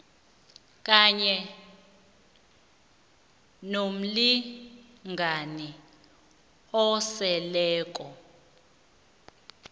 kanye nomlingani oseleko